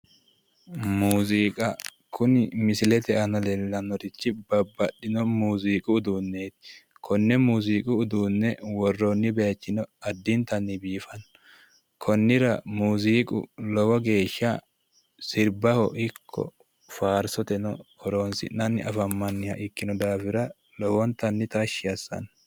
Muuziqa Kuni misilete aanna leelanorichi babbaxino muuziiqu uduuneti Kone muuziiqu uduune worooni bayicho